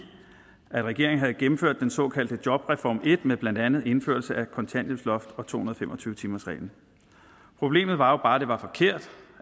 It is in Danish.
regeringen havde gennemført den såkaldte jobreform en med blandt andet indførelsen af kontanthjælpsloftet og to hundrede og fem og tyve timersreglen problemet var jo bare at det var forkert